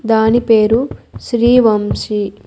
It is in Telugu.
దాని పేరు శ్రీ వంశీ.